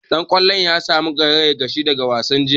Dan kwallon ya samu karayar ƙashi daga wasan jiya